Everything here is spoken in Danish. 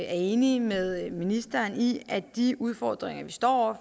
er enige med ministeren i at de udfordringer vi står